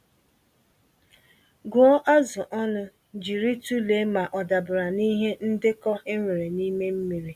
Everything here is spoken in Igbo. Gụọ azụ ọnụ jírí tụlee ma ọdabara n'ihe ndekọ enwere n'ime mmiri.